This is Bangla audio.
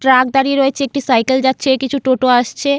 ট্রাক দাঁড়িয়ে রয়েছে একটি সাইকেল যাচ্ছে কিছু টোটো আসছে।